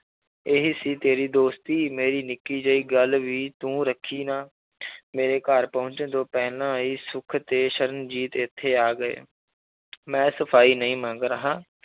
ਇਹ ਹੀ ਸੀ ਤੇਰੀ ਦੋਸਤੀ ਮੇਰੀ ਨਿੱਕੀ ਜਿਹੀ ਗੱਲ ਵੀ ਤੂੰ ਰੱਖੀ ਨਾ ਮੇਰੇ ਘਰ ਪਹੁੰਚਣ ਤੋਂ ਪਹਿਲਾਂ ਹੀ ਸੁੱਖ ਤੇ ਸਰਨਜੀਤ ਇੱਥੇ ਆ ਗਏ ਮੈਂ ਸਫ਼ਾਈ ਨਹੀਂ ਮੰਗ ਰਿਹਾ